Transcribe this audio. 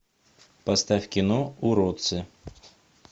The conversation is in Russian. поставь кино уродцы